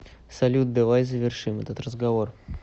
салют давай завершим этот разговор